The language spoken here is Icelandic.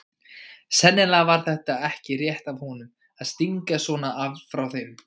Sennilega var þetta ekki rétt af honum að stinga svona af frá þeim.